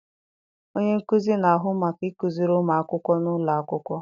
Onye nkuzi na-ahụ maka ịkụziri ụmụ akwụkwọ n'ụlọ akwụkwọ.